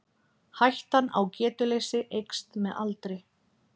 hættan á getuleysi eykst með aldri